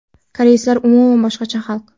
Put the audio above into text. Koreyslar umuman boshqacha xalq.